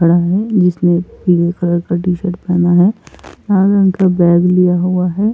खड़ा है जिसने पीले कलर का टी-शर्ट पहना है लाल रंग का बैग लिया हुआ है।